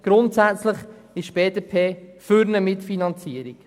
Grundsätzlich ist die BDP für eine Mitfinanzierung.